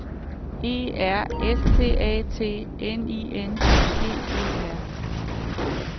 E R S T A T N I N G E R